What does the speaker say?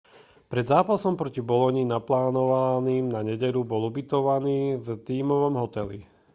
pred zápasom proti bologni naplánovaným na nedeľu bol ubytovaný v tímovom hoteli